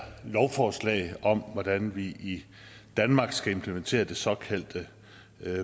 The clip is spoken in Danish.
lovforslag om hvordan vi i danmark skal implementere det såkaldte